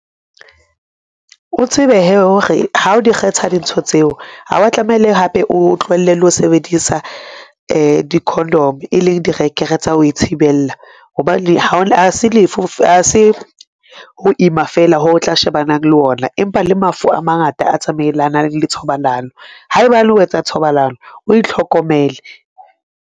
O tsebe hee hore ha o di kgetha dintho tseo, ha wa tlameha hape o tlohelle le ho sebedisa di-condom, e leng direkere tsa ho ithibella hobane ha se ho ima fela, ho tla shebanang le ona. Empa le mafu a mangata a tsamaelanang le thobalano. Haebane o etsa thobalano, o itlhokomele.